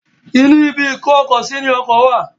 Inú ibi ìkó-ọkọ-sí ní ọkọ wà.